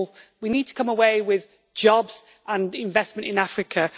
we need to come away with jobs and investment in Africa.